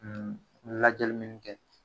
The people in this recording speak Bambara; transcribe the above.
lajɛli mun kɛ